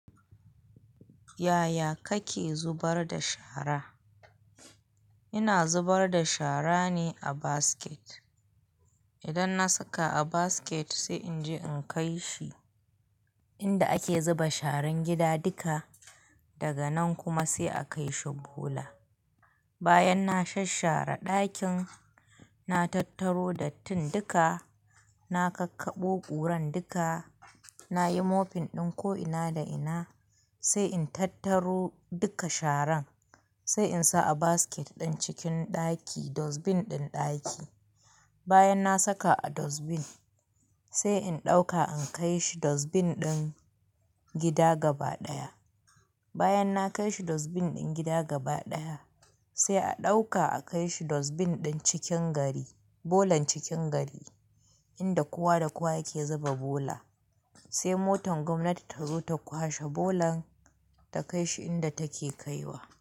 Yaya kake zubar da shara? Ina zubar da shara ne a basket. Idan na saka a basket sai in je in kai shi inda ake zuba sharan gida duka, daga nan kuma sai a kai shi bola. Bayan na shasshara ɗakin, na tattaro dattin duka, na kakkaɓo ƙuran duka, nayi mopping ɗin ko ina da ina, sai in tattaro duka sharan, sai in sa a basket ɗin cikin ɗaki, dustbin ɗin ɗaki. Bayan na saka a dustbin, sai in ɗauka in kai shi dustbin ɗin gida gaba ɗaya. Bayan na kai shi dustbin ɗin gida gaba ɗaya, sai a ɗauka a kai shi dustbin ɗin cikin gari, bolan cikin gari inda kowa da kowa yake zuba bola. Sai motan gwamnati ta zo ta kwashe bolan ta kai shi inda take kaiwa.